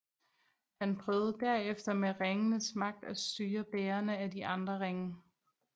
Han prøvede derefter med ringens magt at styre bærerne af de andre ringe